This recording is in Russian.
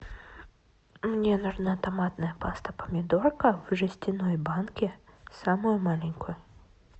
мне нужна томатная паста помидорка в жестяной банке самую маленькую